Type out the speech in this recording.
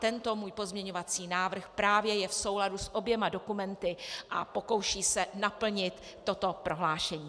Tento můj pozměňovací návrh právě je v souladu s oběma dokumenty a pokouší se naplnit toto prohlášení.